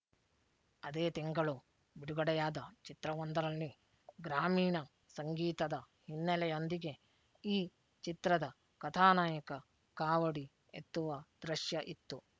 ಅದೇ ತಿಂಗಳು ಬಿಡುಗಡೆಯಾದ ಚಿತ್ರವೊಂದರಲ್ಲಿ ಗ್ರಾಮೀಣ ಸಂಗೀತದ ಹಿನ್ನೆಲೆಯೊಂದಿಗೆ ಈ ಚಿತ್ರದ ಕಥಾನಾಯಕ ಕಾವಡಿ ಎತ್ತುವ ದೃಶ್ಯ ಇತ್ತು